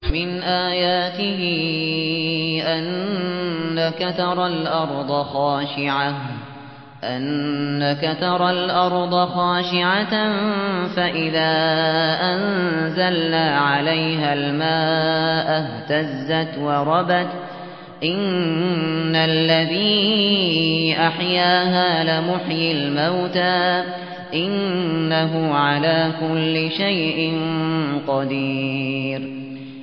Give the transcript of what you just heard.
وَمِنْ آيَاتِهِ أَنَّكَ تَرَى الْأَرْضَ خَاشِعَةً فَإِذَا أَنزَلْنَا عَلَيْهَا الْمَاءَ اهْتَزَّتْ وَرَبَتْ ۚ إِنَّ الَّذِي أَحْيَاهَا لَمُحْيِي الْمَوْتَىٰ ۚ إِنَّهُ عَلَىٰ كُلِّ شَيْءٍ قَدِيرٌ